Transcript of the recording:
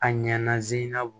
A ɲɛnazina